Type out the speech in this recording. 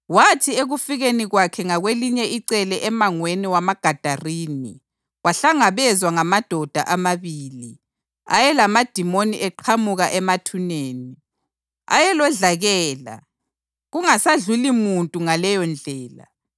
Wathi ekufikeni kwakhe ngakwelinye icele emangweni wamaGadarini wahlangabezwa ngamadoda amabili ayelamadimoni eqhamuka emathuneni. Ayelodlakela, kungasadluli muntu ngaleyondlela.